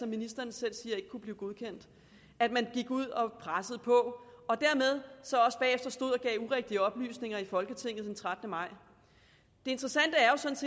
ministeren selv siger ikke kunne blive godkendt at man gik ud og pressede på og dermed også bagefter stod og gav urigtige oplysninger i folketinget den trettende maj det interessante